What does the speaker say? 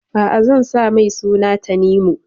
A'a, zan sa mai suna Tanimu.